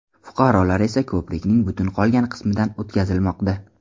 Fuqarolar esa ko‘prikning butun qolgan qismidan o‘tkazilmoqda.